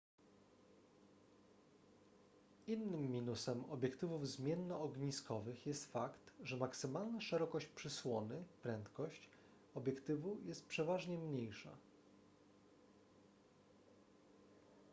innym minusem obiektywów zmiennoogniskowych jest fakt że maksymalna szerokość przysłony prędkość obiektywu jest przeważnie mniejsza